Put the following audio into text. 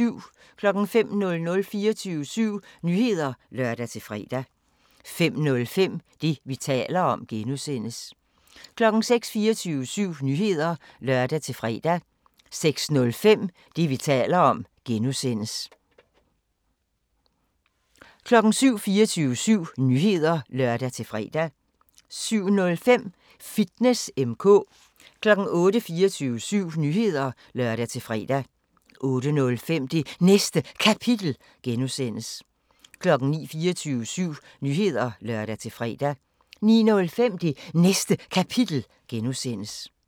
05:00: 24syv Nyheder (lør-fre) 05:05: Det, vi taler om (G) 06:00: 24syv Nyheder (lør-fre) 06:05: Det, vi taler om (G) 07:00: 24syv Nyheder (lør-fre) 07:05: Fitness M/K 08:00: 24syv Nyheder (lør-fre) 08:05: Det Næste Kapitel (G) 09:00: 24syv Nyheder (lør-fre) 09:05: Det Næste Kapitel (G)